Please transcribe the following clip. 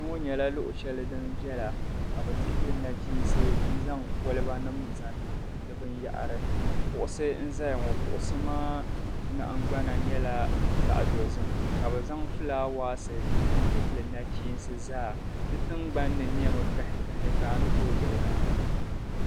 Kpeŋo nyɛla luɣushɛli din viɛla ka bɛ dihi li nachiinsi n-zaŋ kɔlibanim' zaŋ niŋ binyɛhiri kuɣusi n-zaya ŋo kuɣusi maa nahingbana nyɛla zaɣ'dozim ka bɛ zaŋ flaawaasi n-dihili nachiinsi zaa di tingbanni nɛmi kahikahi ka a ni too kuli lihiri a maŋa.